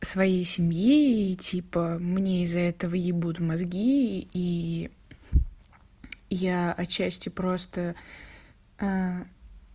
своей семьи типа мне из-за этого ебут мозги и я от счастья просто